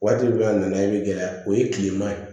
Waati dɔ la a nana i bɛ gɛlɛya o ye kilema ye